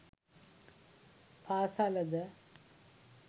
පාසල ද